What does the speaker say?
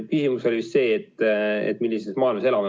Küsimus oli vist see, et millises maailmas ma elan.